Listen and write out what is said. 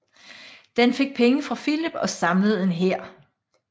Den fik penge fra Filip og samlede en hær